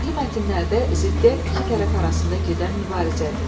Nəqli mətnlərdə ziddiyyət iki tərəf arasında gedən mübarizədir.